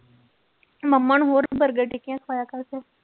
ਮੰਮਾ ਨੂੰ ਹੋਰ ਬਰਗਰ-ਟਿੱਕੀਆਂ ਖਵਾਇਆ ਕਰ ਤੂੰ।